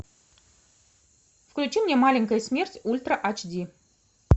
включи мне маленькая смерть ультра айч ди